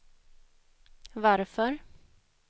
varför